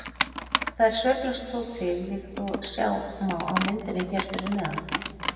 Þær sveiflast þó til líkt og sjá má á myndinni hér fyrir neðan.